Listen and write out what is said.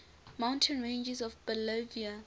mountain ranges of bolivia